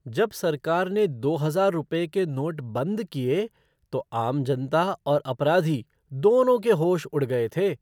जब सरकार ने दो हजार रुपये के नोट बंद किए, तो आम जनता और अपराधी, दोनों के होश उड़ गए थे।